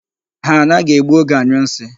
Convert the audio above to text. Ha anaghị egbu oge anyụ nsị.